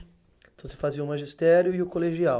Então você fazia o magistério e o colegial.